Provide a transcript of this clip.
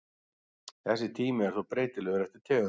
Þessi tími er þó breytilegur eftir tegundum.